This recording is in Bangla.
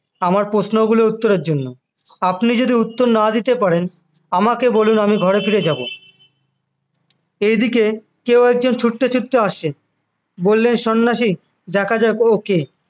আমার প্রশ্নগুলোর উত্তরের জন্য আপনি যদি উত্তর না দিতে পারেন আমাকে বলুন আমি ঘরে ফিরে যাব এই দিকে কেউ একজন ছুটতে ছুটতে আসছে বললেন সন্ন্যাসী দেখা যাক ও কে